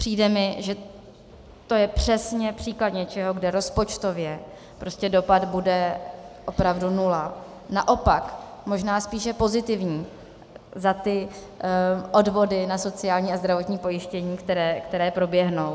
Přijde mi, že to je přesně případ něčeho, kde rozpočtově prostě dopad bude opravdu nula, naopak možná spíše pozitivní za ty odvody na sociální a zdravotní pojištění, které proběhnou.